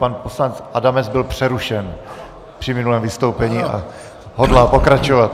Pan poslanec Adamec byl přerušen při minulém vystoupení a hodlá pokračovat.